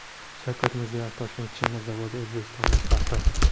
Shavkat Mirziyoyev: Toshkent chinni zavodi O‘zbekistonning faxri.